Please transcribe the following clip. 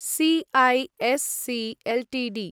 CESC Ltd